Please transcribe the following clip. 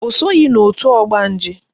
O soghi n'òtù ọgbanje